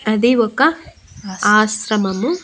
అది ఒక ఆశ్రమము.